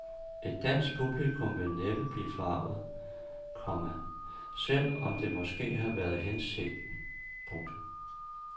Et dansk publikum vil næppe blive forarget, komma selv om det måske har været hensigten. punktum